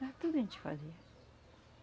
Era tudo a gente fazia.